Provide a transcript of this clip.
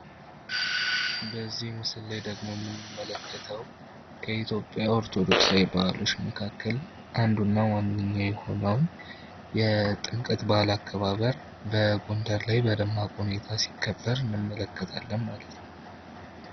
በዚህ ምስላይ ደግሞ የምንመለከተው በኢትዮጵያ ኦርቶዶክሳዊ ባህሎች መካከል አንዱና ዋነኛ የሆነውን የጥምቀት በዓል አከባበር በጎንደር ላይ በደመቅ ሁኔታ ሲከበር እንመለከታለን ማለት ነው።